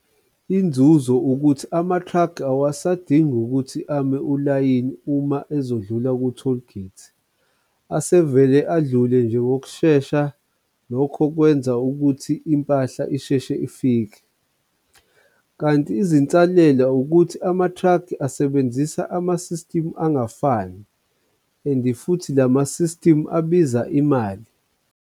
Inzuzo ukuthi ama-truck awasadingi ukuthi ame ulayini, uma ezodlula ku-toll gate, asevele adlule nje ngokushesha, lokho kwenza ukuthi impahla isheshe ifike. Kanti izinsalela ukuthi ama-truck asebenzisa ama-system angafani and futhi lama-system abiza imali.